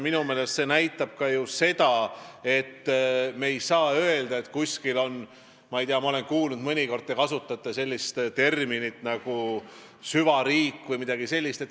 Minu meelest näitab see ju ka seda, et me ei saa öelda, et kuskil on, ma ei tea, süvariik või midagi sellist.